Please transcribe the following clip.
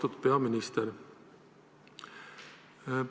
Austatud peaminister!